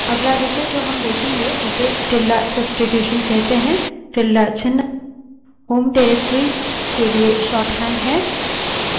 अगला विषय जो हम देखेंगे उसे tilde substitution कहते हैं tilde ~ चिन्ह home directory के लिए शोर्टहैंड है